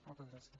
moltes gràcies